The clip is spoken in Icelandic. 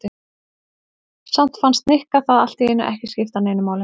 Samt fannst Nikka það allt í einu ekki skipta neinu máli.